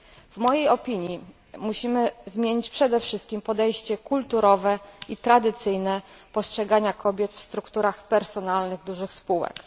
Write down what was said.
W mojej opinii musimy zmienić przede wszystkim podejście kulturowe i tradycyjne postrzeganie kobiet w strukturach personalnych dużych spółek.